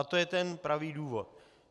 A to je ten pravý důvod.